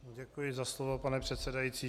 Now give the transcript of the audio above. Děkuji za slovo, pane předsedající.